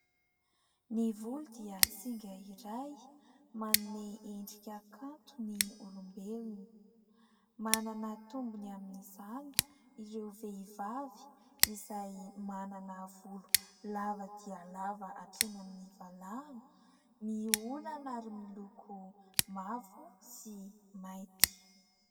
Ny volo dia singa iray manome endrika kanto ny olombelona, manana tombony amin'izany ireo vehivavy izay manana volo lava dia lava hatreny amin'ny valahana, miolana ary miloko mavo sy mainty.